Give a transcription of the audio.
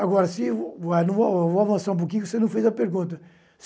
Agora, se eu vou, vou avançar um pouquinho que você não fez a pergunta.